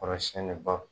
Kɔrɔ siɲɛnibaw